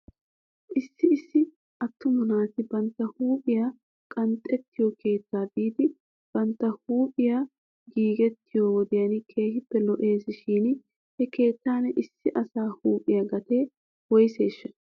Issi issi atuma naati bantta huuphphiyaa qanxxettiyoo keettaa biidi bantta huuphphiyaa giigettiyoo wodiyan keehippe lo'es shin he keettan issi asa huuphphiyaa gatee woyseeshsha?